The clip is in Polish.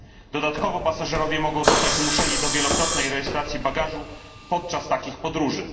Dodatkowo pasażerowie mogą zostać zmuszeni do wielokrotnej rejestracji bagażu podczas takich podróży.